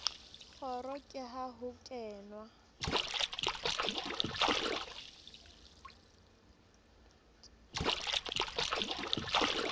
kgoro ke ha ho kenwa